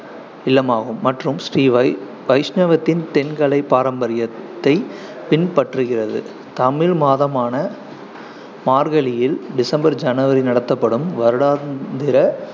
இல்லமாகும் மற்றும் ஸ்ரீ வை~ வைஷ்ணவத்தின் தென்கலை பாரம்பரியத்தைப் பின்பற்றுகிறது. தமிழ் மாதமான மார்கழியில் டிசம்பர்-ஜனவரி நடத்தப்படும் வருடாந்திர